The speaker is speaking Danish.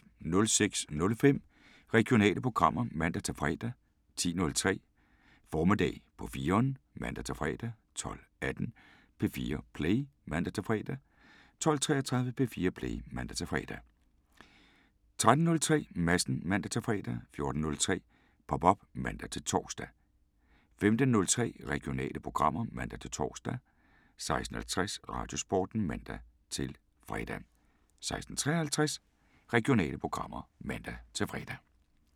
06:05: Regionale programmer (man-fre) 10:03: Formiddag på 4'eren (man-fre) 12:18: P4 Play (man-fre) 12:33: P4 Play (man-fre) 13:03: Madsen (man-fre) 14:03: Pop op (man-tor) 15:03: Regionale programmer (man-tor) 16:50: Radiosporten (man-fre) 16:53: Regionale programmer (man-fre)